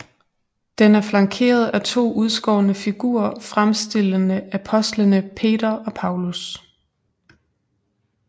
Den er flankeret af to udskårne figurer fremstillende apostlene Peter og Paulus